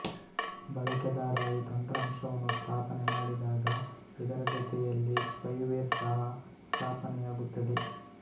ಬಳಕೆದಾರ ಈ ತಂತ್ರಾಂಶವನ್ನು ಸ್ಥಾಪನೆ ಮಾಡಿದಾಗ ಇದರ ಜೊತೆಯಲ್ಲಿ ಸ್ಪೈವೇರ್ ಸಹ ಸ್ಥಾಪನೆಯಾಗುತ್ತದೆ